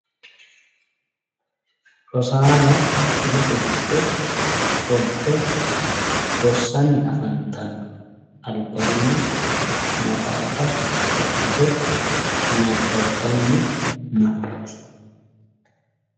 Rosaano kifilete giddo ofolte rossanni afantanno. albaanni maxaafa wodhite nabbabbanni no.